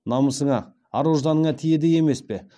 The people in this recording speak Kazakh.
намысына ар ожданына тиеді емес пе